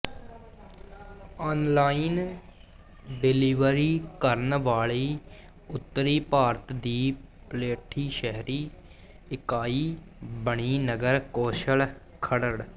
online delivery ਕਰਨ ਵਾਲੀ ਉੱਤਰੀ ਭਾਰਤ ਦੀ ਪਲੇਠੀ ਸ਼ਹਿਰੀ ਇਕਾਈ ਬਣੀ ਨਗਰ ਕੌਂਸਲ ਖਰੜ